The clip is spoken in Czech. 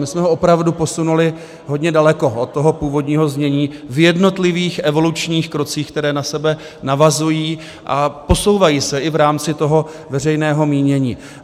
My jsme ho opravdu posunuli hodně daleko od toho původního znění v jednotlivých evolučních krocích, které na sebe navazují a posouvají se i v rámci toho veřejného mínění.